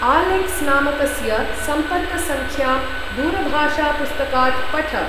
Alex नामकस्य सम्पर्कसङ्खां दूरभाषापुस्तकात् पठ।